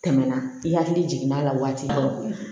Tɛmɛna i hakili jiginn'a la waati dɔ la